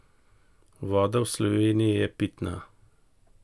In še: 'Voda v Sloveniji je pitna.